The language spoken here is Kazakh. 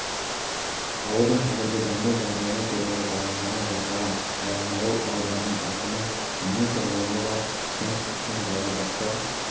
ауылдың қазіргі даму жағдайы туралы баяндама жасаған баянауыл ауданының әкімі мың тұрғыны бар кент үшін балабақша